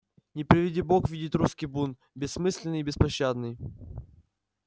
не приведи бог видит русский бунт бессмысленный и беспощадный